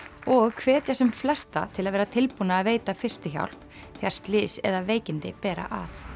og hvetja sem flesta til að vera tilbúna að veita fyrstu hjálp þegar slys eða veikindi bera að